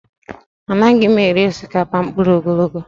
Anaghị m eri osikapa mkpụrụ ogologo